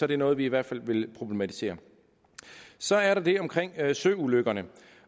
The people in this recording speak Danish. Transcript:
det noget vi i hvert fald vil problematisere så er der det omkring søulykkerne